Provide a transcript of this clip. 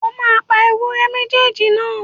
Ó máa pa ewúré méjèèjì náà.!